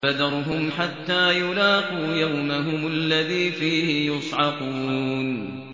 فَذَرْهُمْ حَتَّىٰ يُلَاقُوا يَوْمَهُمُ الَّذِي فِيهِ يُصْعَقُونَ